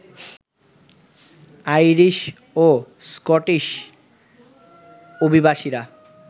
Irish ও Scottish অভিবাসীরা